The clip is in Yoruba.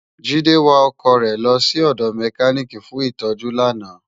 Jide wá òkò re lò si òdò mèkánikí fún itòjú làná